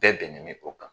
Bɛɛ bɛnnen bɛ o kan